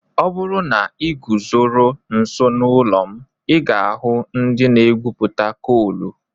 Ọ bụrụ na ị guzoro nso n'ụlọ m, ị ga-ahụ ndị na-egwupụta koolù.